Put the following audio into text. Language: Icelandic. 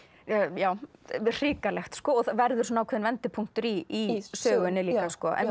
já hrikalegt og verður ákveðinn vendipunktur í sögunni líka